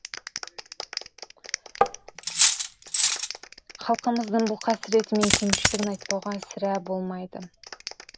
халқымыздың бұл қасіреті мен кемшілігін айтпауға сірә болмайды